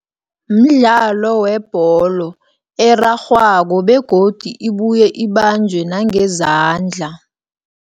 Mdlalo webholo erarhwako, begodi ibuye ibanjwe nangezandla.